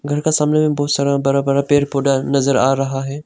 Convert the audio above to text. घर का सामने में बहुत सारा बड़ा बड़ा पेड़ पौधा नज़र आ रहा है।